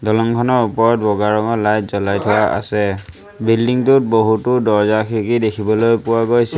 দলঙখনৰ ওপৰত বগা ৰঙৰ লাইট জ্বলাই থোৱা আছে বিল্ডিং টোত বহুতো দৰ্জ্জা খিৰিকী দেখিবলৈ পোৱা গৈছে।